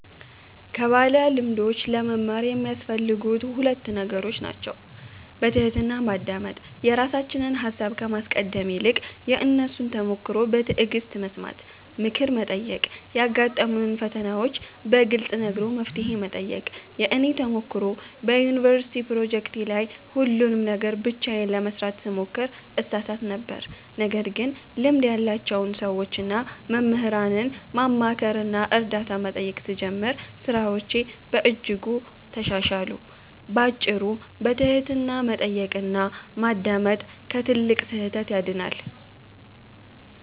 ከባለልምዶች ለመማር የሚያስፈልጉት ሁለት ነገሮች ናቸው፦ በትሕትና ማዳመጥ፦ የራሳችንን ሃሳብ ከማስቀደም ይልቅ የእነሱን ተሞክሮ በትዕግሥት መስማት። ምክር መጠየቅ፦ ያጋጠሙንን ፈተናዎች በግልጽ ነግሮ መፍትሄ መጠየቅ። የእኔ ተሞክሮ፦ በዩኒቨርሲቲ ፕሮጀክቶቼ ላይ ሁሉንም ነገር ብቻዬን ለመሥራት ስሞክር እሳሳት ነበር። ነገር ግን ልምድ ያላቸውን ሰዎችና መምህራንን ማማከርና እርዳታ መጠየቅ ስጀምር ሥራዎቼ በእጅጉ ተሻሻሉ። ባጭሩ፤ በትሕትና መጠየቅና ማዳመጥ ከትልቅ ስህተት ያድናል።